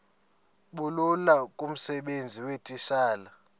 bulula kumsebenzi weetitshala